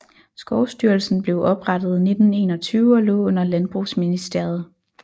Skovstyrelsen blev oprette 1921 og lå under landbrugsministeriet